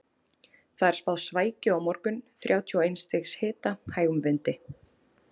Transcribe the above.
Það er spáð svækju á morgun, þrjátíu og eins stigs hita, hægum vindi.